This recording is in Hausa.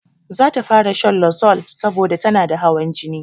Zata fara shan losol saboda tanada hawan jini